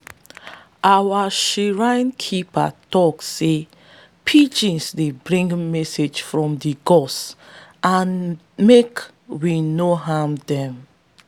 our shrine keeper tok say pigeons dey bring message from di gods and make we no harm them.